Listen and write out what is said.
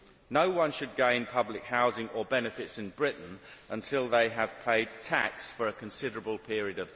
No one should gain public housing or benefits in Britain until they have paid tax for a considerable period of time.